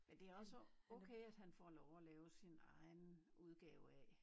Men det også okay at han for lov at lave sin egen udgave af